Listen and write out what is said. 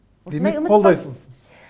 демек қолдайсыз